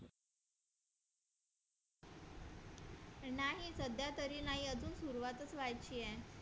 अजून सुरुवातच व्हायची आहे